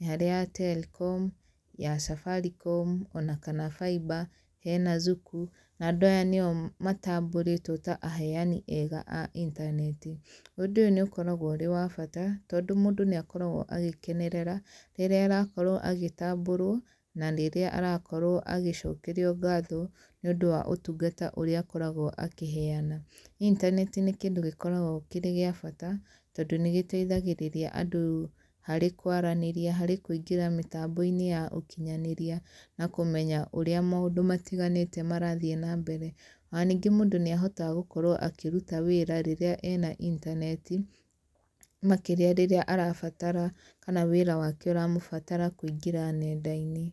nĩ harĩ ya Telkom, ya Safaricom ona kana ya Faiba, hena Zuku na andũ aya nĩo matambũrĩtwo ta aheani ega a intaneti. Ũndũ ũyũ nĩ ũkoragwo ũrĩ wa bata tondũ mũndũ nĩ akoragwo agĩkenerera rĩrĩa arakorwo agĩtambũrwo na rĩrĩa aragĩkorwo agĩcokerio ngatho nĩ ũndũ wa ũtungata ũrĩa akoragwo akĩheana. Intaneti nĩ kĩndũ gĩkoragwo gĩkĩrĩ gia bata tondũ nĩ gĩteithagĩrĩria andũ harĩ kwaranĩria, harĩ kũingĩra mitambo-inĩ ya ũkinyanĩria na kũmenya maũndũ marĩa matiganĩte marathiĩ na mbere ona ningĩ mũndũ nĩ ahotaga gũkorwo akĩruta wĩra rĩrĩa ena intaneti makĩria rĩrĩa arabatara kana wĩra wake ũramũbatara kũingĩra nenda-inĩ.